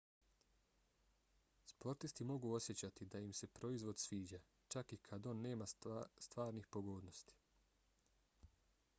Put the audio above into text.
sportisti mogu osjećati da im se proizvod sviđa čak i kad on nema stvarnih pogodnosti